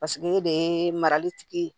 Paseke e de ye marali tigi